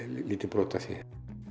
lítið brot af því